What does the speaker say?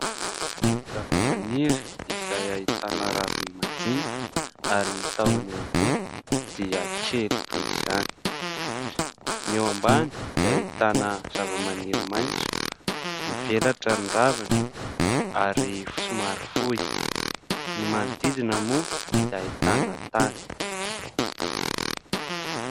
Zavamaniry izay ahitana raviny majinika ary ny tahony ihany koa dia kely toy izany. Ny eo ambany dia ahitana zavamaniry maitso, mivelatra ny raviny ary somary fohy. Ny manodidina moa dia ahitana tany.